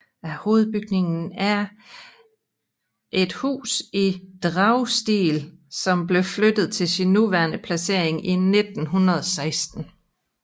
Hovedbygningen er et hus i dragestil som blev flyttet til sin nuværende placering i 1916